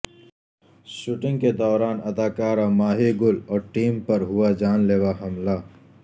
shooting کے دوران اداکارہ ماہی گل اور ٹیم پر ہوا جان لیوا حملہ